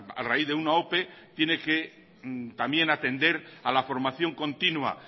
a raíz de una ope tiene que también atender a la formación continua